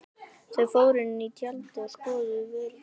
Þau fóru inn í tjaldið og skoðuðu vörurnar.